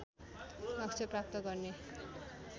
लक्ष्य प्राप्त गर्ने